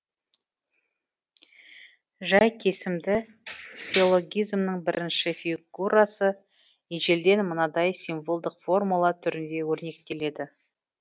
жай кесімді силлогизмнің бірінші фигурасы ежелден мынадай символдық формула түрінде өрнектеледі